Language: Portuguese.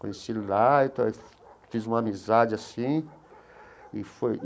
Conheci ele lá e tal e fiz uma amizade assim e